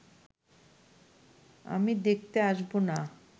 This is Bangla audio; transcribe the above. আমি দেখতে আসব না